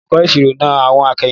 Olùkọ́ ìṣirò na àwọ̀n akẹ́yìndé.